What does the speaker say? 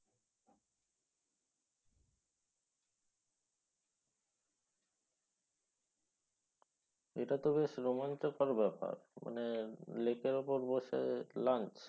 এটা তো বেশ রোমাঞ্চকর ব্যাপার। মানে lake এর উপর বসে lunch